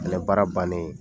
O fana baara bannen